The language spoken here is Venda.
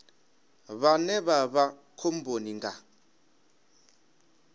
vhane vha vha khomboni nga